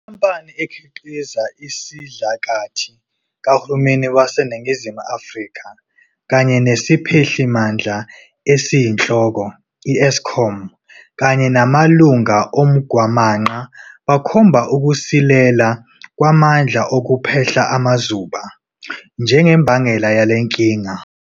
Inkampani ekhiqiza isidlakathi kahulumeni waseNingizimu Afrika kanye nesiphehli mandla esiyinhloko, i-Eskom, kanye namalunga oMgwamanqa bakhomba ukusilela kwamandla okuphehla amaZuba njengembangela yalenkinga.